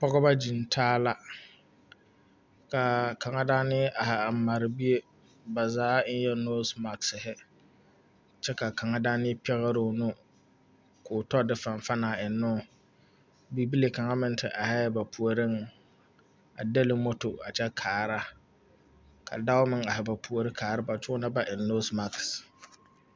Pɔgeba gyiŋtaa la a kaŋa daana a mare bie ba zaa eŋɛɛ nosi magsiri kyɛ ka kaŋa daŋna pɛgre o nu koo tɔ de fanfan a eŋnoo bibile kaŋ meŋ te arɛɛ ba puoriŋ a dɛli moto a kyɛ kaara ka dɔɔ meŋ are ba puoriŋ kaara ba kyɛ onɔŋ ba eŋ nosi mage.